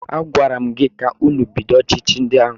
Agwara m gị ka ụnụ bido ọchịchị ndị agha!